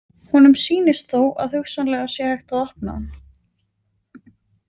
Honum sýnist þó að hugsanlega sé hægt að opna hann.